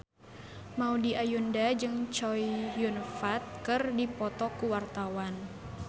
Maudy Ayunda jeung Chow Yun Fat keur dipoto ku wartawan